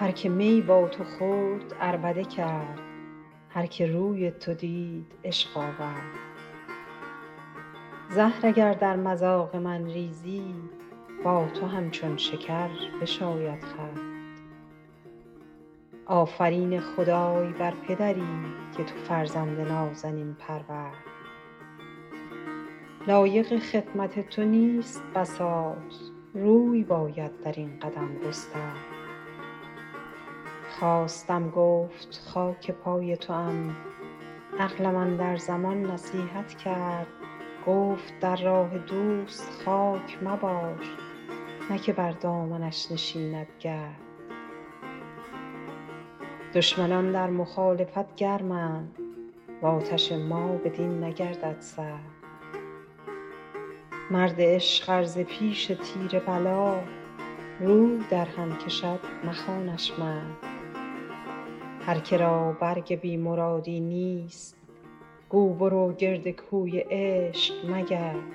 هر که می با تو خورد عربده کرد هر که روی تو دید عشق آورد زهر اگر در مذاق من ریزی با تو همچون شکر بشاید خورد آفرین خدای بر پدری که تو فرزند نازنین پرورد لایق خدمت تو نیست بساط روی باید در این قدم گسترد خواستم گفت خاک پای توام عقلم اندر زمان نصیحت کرد گفت در راه دوست خاک مباش نه که بر دامنش نشیند گرد دشمنان در مخالفت گرمند و آتش ما بدین نگردد سرد مرد عشق ار ز پیش تیر بلا روی درهم کشد مخوانش مرد هر که را برگ بی مرادی نیست گو برو گرد کوی عشق مگرد